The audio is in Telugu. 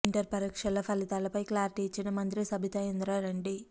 ఇంటర్ పరీక్షల ఫలితాల పై క్లారిటీ ఇచ్చిన మంత్రి సబితా ఇంద్రారెడ్డి